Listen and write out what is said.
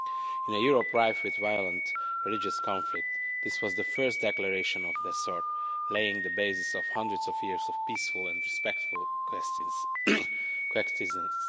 In a Europe rife with violent religious conflict, this was the first declaration of this sort, laying down the basis of hundreds of years of peaceful and respectful co existence.